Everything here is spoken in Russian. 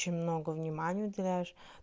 очень много внимания уделяешь